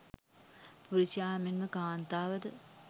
පුරුෂයා මෙන්ම කාන්තාව ද